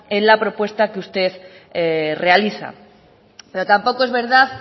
en la propuesta que usted realiza pero tampoco es verdad